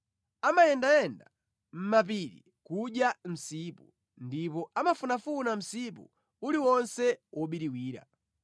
Amayendayenda mʼmapiri kudya msipu ndipo amafunafuna msipu uliwonse wobiriwira.